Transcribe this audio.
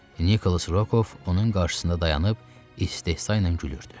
Nikolas Rokov onun qarşısında dayanıb istehza ilə gülürdü.